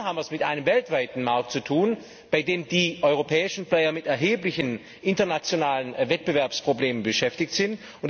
Hier haben wir es mit einem weltweiten Markt zu tun, bei dem die europäischen Player mit erheblichen internationalen Wettbewerbsproblemen konfrontiert sind.